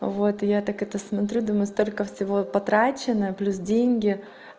вот я так это смотрю думаю столько всего потрачено плюс деньги